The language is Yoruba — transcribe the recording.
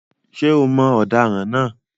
Ṣé o mọ ọ̀daràn náà?